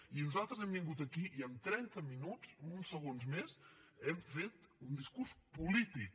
i nosaltres hem vingut aquí i en trenta minuts uns segons més hem fet un discurs polític